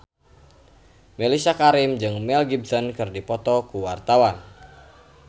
Mellisa Karim jeung Mel Gibson keur dipoto ku wartawan